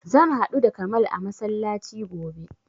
Zan haɗu da kamal a masallaci gobe